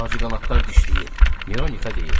Ağcaqanadlar dişləyib, Mironixa deyir.